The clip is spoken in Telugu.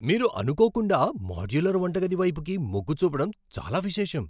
మీరు అనుకోకుండా మాడ్యులర్ వంటగది వైపుకి మొగ్గు చూపటం చాలా విశేషం.